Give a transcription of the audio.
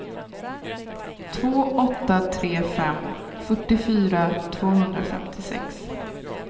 två åtta tre fem fyrtiofyra tvåhundrafemtiosex